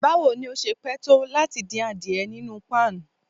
Bawo ni o ṣe pẹ to lati din adiẹ ninu pan?